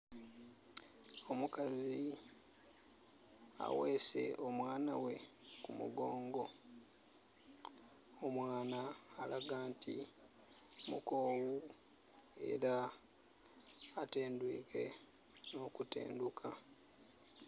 Omukazi aweese omwaana ghe ku mugongo. Omwaana alaga nti mukowu era atendwike nho kutendhuka.